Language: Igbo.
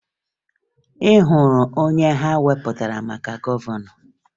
Ị hụrụ onye ha wepụtara maka gọvanọ?